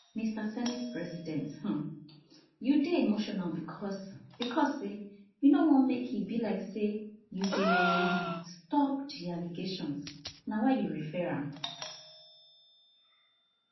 mr senate president um you dey emotional becos becos say you no wan make e belike say you dey um stop di allegations na why you refer am